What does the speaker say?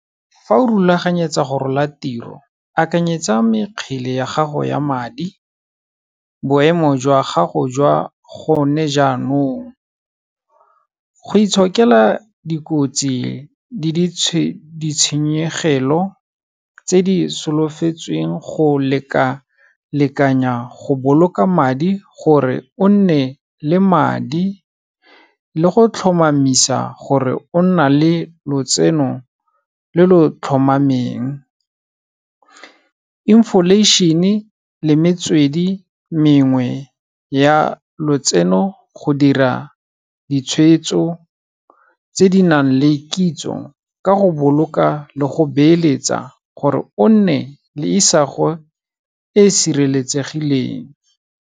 Fa o rulaganyetsa go rola tiro, akanyetsa mekgele ya gago ya madi, boemo jwa gago jwa gone jaanong, go itshokela dikotsi le di tshenyegelo tse di solofetsweng go lekalekanya go boloka madi gore o nne le madi le go tlhomamisa gore o nna le lotseno lo lo tlhomameng, inflation-e le metswedi mengwe ya lotseno, go dira ditshwetso tse di nang le kitso ka go boloka le go beeletsa gore o nne le isago e e sireletsegileng.